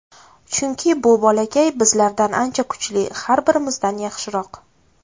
Chunki bu bolakay bizlardan ancha kuchli, har birimizdan yaxshiroq.